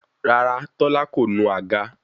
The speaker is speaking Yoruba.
Rárá tola ko nu àga